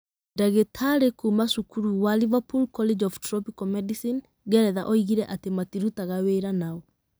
Ndagĩtarĩ kuuma cukuru wa Liverpool College of Tropical Medicine, Ngeretha oigire atĩ matirutaga wĩra na o.